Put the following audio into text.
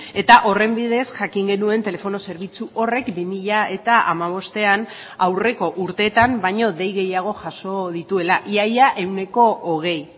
eta horren bidez jakin genuen telefono zerbitzu horrek bi mila hamabostean aurreko urteetan baino dei gehiago jaso dituela ia ia ehuneko hogei